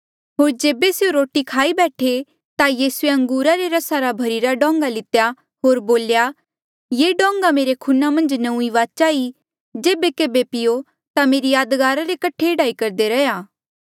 होर जेबे स्यों रोटी खाई बैठे ता यीसूए अंगूरा रे रसा रा भरिरा डोंगा लितेया होर बोल्या ये डोंगा मेरे खूना मन्झ नौंईं वाचा ई जेबे केभे पीओ ता मेरी यादगारा रे कठे एह्ड़ा ही करदे रैहया